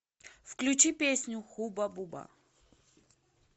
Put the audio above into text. включи песню хуба буба